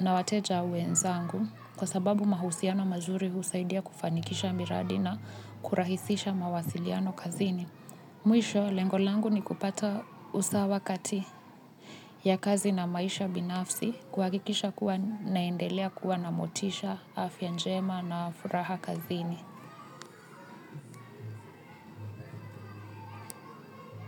na wateja wenzangu kwa sababu mahusiano mazuri husaidia kufanikisha miradi na kurahisisha mawasiliano kazini. Mwisho lengo langu ni kupata usawa kati ya kazi na maisha binafsi kuhakikisha kuwa ninaendelea kuwa na motisha afya njema na furaha kazini.